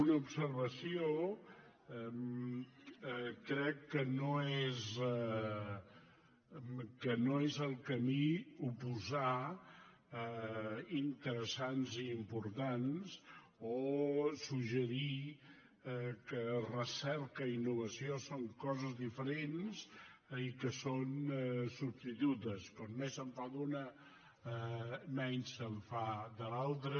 una observació crec que no és el camí oposar interessants i importants o suggerir que recerca i innovació són coses diferents i que són substitutes com més se’n fa d’una menys se’n fa de l’altra